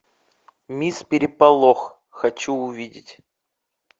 мисс переполох хочу увидеть